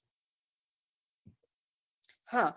હા